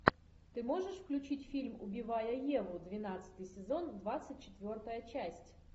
ты можешь включить фильм убивая еву двенадцатый сезон двадцать четвертая часть